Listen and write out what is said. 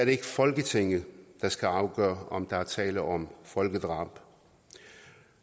det ikke folketinget der skal afgøre om der er tale om folkedrab og